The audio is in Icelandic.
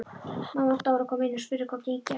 Mamma Dóra kom inn og spurði hvað gengi á.